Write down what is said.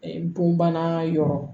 Bonbana yɔrɔ